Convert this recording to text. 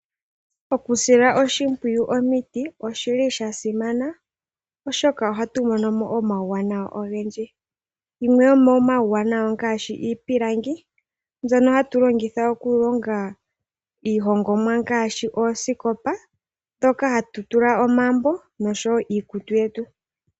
Okusila oshimpwiyu omiti oshili sha simana oshoka ohatu mono mo omauwanawa ogendji. Yimwe yomomauwanawa ongaashi iipilangi, mbyono hatu longitha okulomga iihongomwa ngaashi oosikopa, dhoka hatu tula omambo noshowo iikutu yetu.